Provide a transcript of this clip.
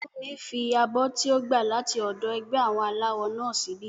Fúnmi fi abọ́ tí ó gbà láti ọ̀dọ̀ ẹgbẹ́ àwọn aláwọ náà síbí